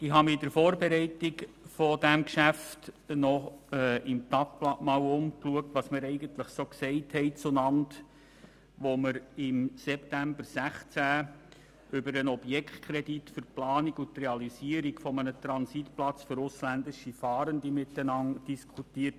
Ich habe während der Vorbereitung dieses Geschäfts im Tagblatt nachgesehen, was wir zueinander gesagt hatten, als wir im September 2016 den Objektkredit für die Planung und Realisierung eines Transitplatzes für ausländische Fahrende berieten.